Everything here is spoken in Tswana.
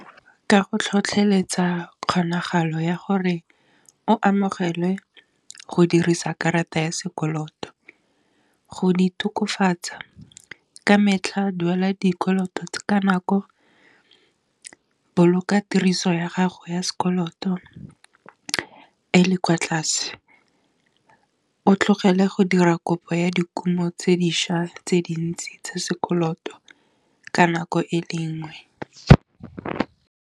Ka go tlhotlheletsa kgonagalo ya gore o amogelwe go dirisa karata ya sekoloto, go di tokafatsa ka metlha duela dikoloto ka nako, boloka tiriso ya gago ya sekoloto, e le kwa tlase o tlogele go dira kopo ya dikumo tse dišwa tse dintsi tse sekoloto ka nako e le nngwe.